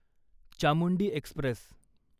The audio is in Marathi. चामुंडी एक्स्प्रेस